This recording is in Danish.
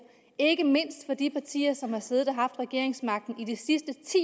ikke mindst fra de partier som har siddet og haft regeringsmagten